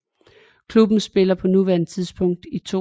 Klubben spiller på nuværende tidspunkt i 2